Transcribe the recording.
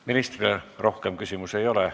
Ministrile rohkem küsimusi ei ole.